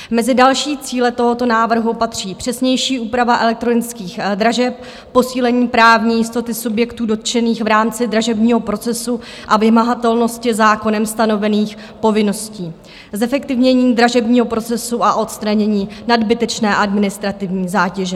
Mezi další cíle tohoto návrhu patří přesnější úprava elektronických dražeb, posílení právní jistoty subjektů dotčených v rámci dražebního procesu a vymahatelnosti zákonem stanovených povinností, zefektivnění dražebního procesu a odstranění nadbytečné administrativní zátěže.